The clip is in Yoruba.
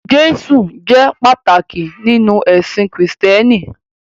Jésù jẹ́ pàtàkì nínú ẹ̀sìn Kristẹni.